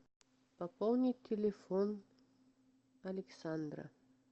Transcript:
пополнить телефон александра